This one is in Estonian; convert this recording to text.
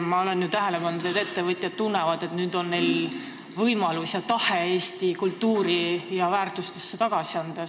Ma olen tähele pannud, et ettevõtjad tunnevad, et nüüd on neil võimalusi ja tahet Eesti kultuuri ja väärtustesse midagi tagasi anda.